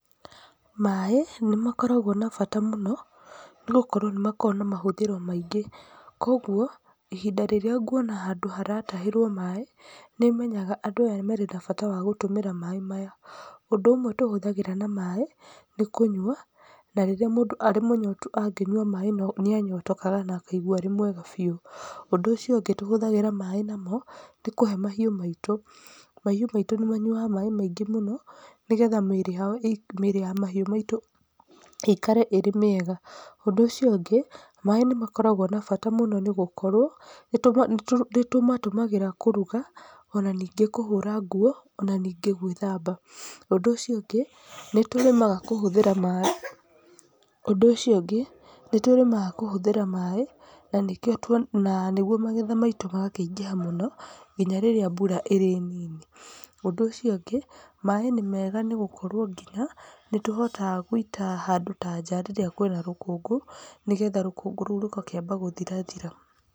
Maĩ nĩmakoragwo na bata mũno nĩgũkorwo nĩmakoragwo na mahũthĩro maingĩ, koguo ihinda rĩrĩa nguona handũ haratahĩrwo maĩ nĩmenyaga andũ aya marĩ na bata wa gũtũmĩra maĩ maya. Ũndũ ũmwe tũhũthagĩra na maĩ, nĩ kũnyua. Na rĩrĩa mũndũ arĩ mũnyotu angĩnyua maĩ nĩanyotokaga na akaigua arĩ mwega biũ. Ũndũ ũcio ũngĩ tũhũthagĩra maĩ namo, nĩ kũhe mahiũ maitũ. Mahiũ maitũ nĩmanyuaga maĩ maingĩ mũno nĩgetha mĩĩrĩ ya, nĩgetha mĩĩrĩ ya mahiũ maitũ ĩikare ĩrĩ mĩega. Ũndũ ũcio ũngĩ, maĩ nĩmakoragwo na bata mũno nĩgũkorwo, nĩtũmatũmagĩra kũruga ona ningĩ kũhũra nguo, ona ningĩ gwĩthamba. Ũndũ ũcio ũngĩ, nĩtũrĩmaga kũhũthĩra maĩ, ũndũ ũcio ũngĩ, nĩtũrĩmaga kũhũthĩra maĩ, na nĩkĩo tuona, na nĩguo magetha maitũ magakĩingĩha mũno nginya rĩrĩa mbura ĩrĩ nini. Ũndũ ũcio ũngĩ, maĩ nĩmega nĩgũkorwo nginya nĩtũhotaga gũita handũ ta nja rĩrĩa kwĩna rũkũngũ, nĩgetha rũkũngũ rũu rũgakĩamba gũthirathira.